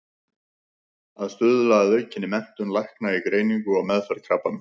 Að stuðla að aukinni menntun lækna í greiningu og meðferð krabbameins.